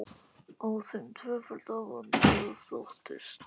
Á þeim tvöfalda vanda þóttist